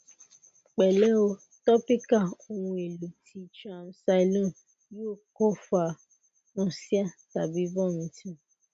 pẹlẹ o topical ohun elo ti triamcilone yoo ko fa nausea tabi vomiting